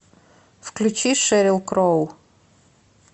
включи шерил кроу